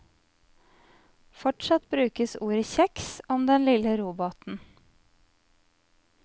Fortsatt brukes ordet kjeks om den lille robåten.